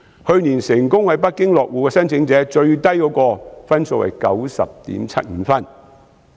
去年成功在北京落戶的申請者最低分是 90.75 分。